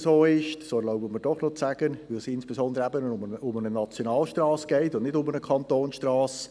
Die Planungserklärung nimmt eigentlich eine Debatte auf, die Sie in dieser Session in der ersten Sessionswoche bereits geführt haben.